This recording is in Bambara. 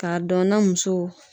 Ka dɔn na muso